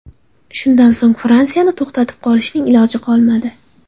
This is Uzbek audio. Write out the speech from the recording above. Shundan so‘ng Fransiyani to‘xtatib qolishning iloji qolmadi.